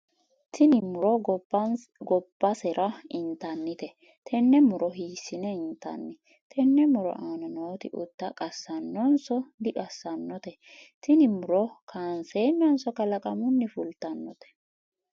tini muro gabbasera intannite? tenne muro hiissine intanni? tenne muro aana nooti ute qassannotenso diqassannote? tini muro kaanseennanso kalaqamunni fultannote?